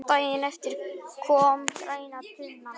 Daginn eftir kom græna tunnan.